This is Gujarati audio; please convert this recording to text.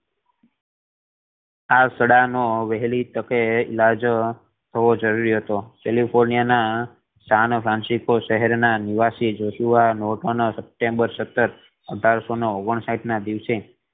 આ સડા વહેલી તકે ઈલાજ થવો જરુરી હતો કેલિફોર્નિયા ના સાન ફ્રાન્સિસકો શહેર ના નિવાસી જોશુઆ સેપેતેમ્બેર સત્તર અઢારસો ને ઓગણ સાહીંઠ ના દિવસે